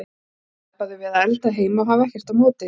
Þá sleppa þau við að elda heima og hafa ekkert á móti því.